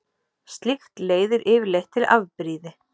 Slíkt leiðir yfirleitt til afbrýði.